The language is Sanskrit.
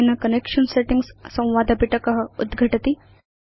अनेन कनेक्शन सेटिंग्स् संवादपिटक उद्घटति